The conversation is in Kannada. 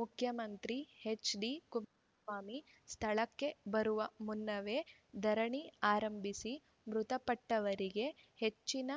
ಮುಖ್ಯಮಂತ್ರಿ ಎಚ್‌ಡಿಕುಮಾರಸ್ವಾಮಿ ಸ್ಥಳಕ್ಕೆ ಬರುವ ಮುನ್ನವೇ ಧರಣಿ ಆರಂಭಿಸಿ ಮೃತಪಟ್ಟವರಿಗೆ ಹೆಚ್ಚಿನ